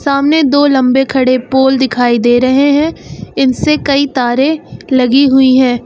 सामने दो लंबे खड़े पोल दिखाई दे रहे हैं इनसे कई तारे लगी हुई हैं।